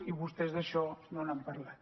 i vostès d’això no n’han parlat